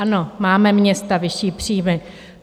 Ano, máme - města - vyšší příjmy.